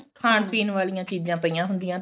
ਖਾਣ ਪੀਣ ਵਾਲੀਆਂ ਚੀਜ਼ਾਂ ਪਈਆਂ ਹੁੰਦੀਆਂ